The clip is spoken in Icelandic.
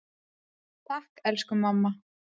Takk, elsku mamma.